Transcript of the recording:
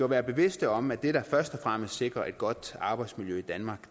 være bevidste om at det der først og fremmest sikrer et godt arbejdsmiljø i danmark